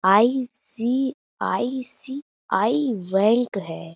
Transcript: ICICI. Bank है।